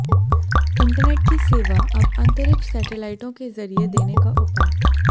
internet की सेवा अब अंतरिक्ष सैटेलाइटों के जरिए देने का उपाय